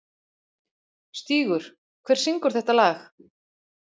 Stígur, hver syngur þetta lag?